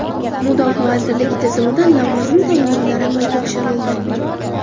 Mudofaa vazirligi tizimida lavozim tayinlovlari amalga oshirildi.